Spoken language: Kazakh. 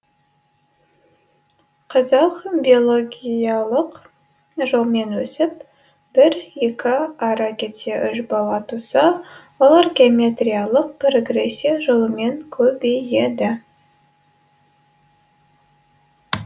қазақ биологиялық жолмен өсіп бір екі ары кетсе үш бала туса олар геометриялық прогрессия жолымен көбейеді